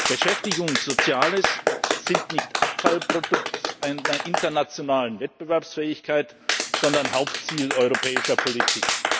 Beschäftigung und Soziales sind nicht Abfallprodukt einer internationalen Wettbewerbsfähigkeit, sondern Hauptziel europäischer Politik.